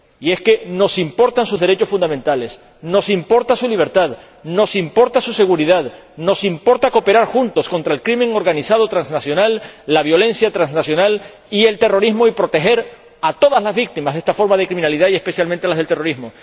Y es que nos importan sus derechos fundamentales, nos importa su libertad, nos importa su seguridad, nos importa cooperar juntos contra el crimen organizado transnacional, la violencia transnacional y el terrorismo, y proteger a todas las víctimas de estas formas de criminalidad, especialmente, a las del terrorismo.